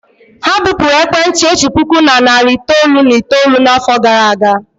Ha bupụrụ ekwentị otu puku na narị itoolu na itoolu n'afọ gara aga.